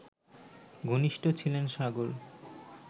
ঘনিষ্ঠ ছিলেন সাগর